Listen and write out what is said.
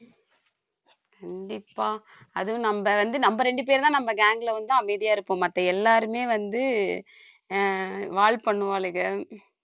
கண்டிப்பா அதுவும் நம்ம வந்து நம்ம ரெண்டு பேருதான் நம்ம gang ல வந்து அமைதியா இருப்போம் மத்த எல்லாருமே வந்து ஆஹ் வாலு பண்ணுவாளுக